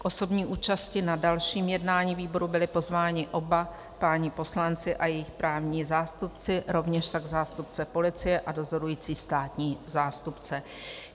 K osobní účasti na dalším jednání výboru byli pozváni oba páni poslanci a jejich právní zástupci, rovněž tak zástupce policie a dozorující státní zástupce.